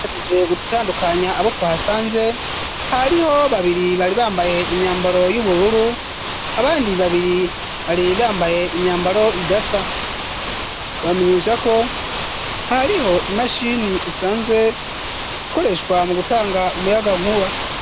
Mpejeje gutandukanya abo twahasanze hariho babiri bari bambaye imyambaro y'ubururu abandi babiri bari bambaye imyambaro idasaa tubamenyesha ko hariho imashini isanzwe ikoreshwa mu gutanga umuyagankuba.